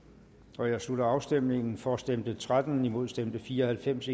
jeg slutter afstemningen for stemte tretten imod stemte fire og halvfems